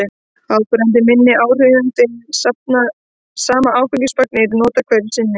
áberandi minni áhrifum þegar sama áfengismagn er notað hverju sinni